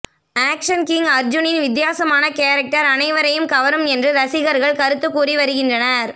action king அர்ஜுனின் வித்தியாசமான character அனைவரையும் கவரும் என்று ரசிகர்கள் கருத்து கூறி வருகின்றனர்